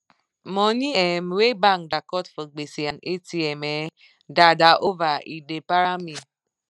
money um wey bank da cut for gbese and atm um da da over e da para me